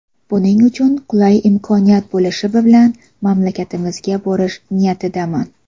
Buning uchun qulay imkoniyat bo‘lishi bilan mamlakatingizga borish niyatidaman.